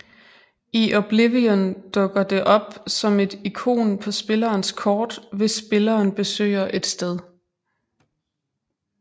I Oblivion dukker det op som et ikon på spillerens kort hvis spilleren besøger et sted